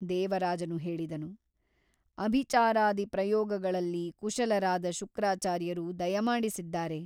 ದೇವರಾಜನು ಹೇಳಿದನು ಅಭಿಚಾರಾದಿ ಪ್ರಯೋಗಗಳಲ್ಲಿ ಕುಶಲರಾದ ಶುಕ್ರಾಚಾರ್ಯರು ದಯಮಾಡಿಸಿದ್ದಾರೆ.